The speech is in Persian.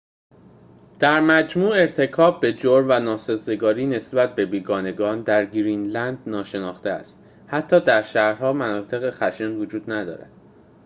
در مجموع ارتکاب به جرم و ناسازگاری نسبت به بیگانگان در گرینلند ناشناخته است حتی در شهرها مناطق خشن وجود ندارد